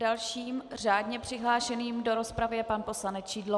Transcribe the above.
Dalším řádně přihlášeným do rozpravy je pan poslanec Šidlo.